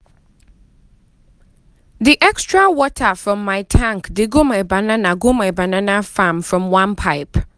the extra water from my tank dey go my banana go my banana farm from one pipe.